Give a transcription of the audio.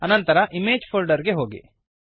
ಅನಂತರ image folder ಗೆ ಹೋಗಿ